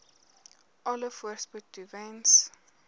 alle voorspoed toewens